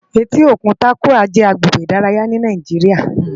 Éti ókún Tàkúwá Bé jè àgbégbé idàráyá ni Nàijiriá